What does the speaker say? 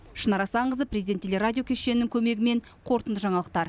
шынар асанқызы президент телерадио кешенінің көмегімен қорытынды жаңалықтар